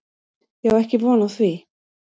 Ég á ekki von á því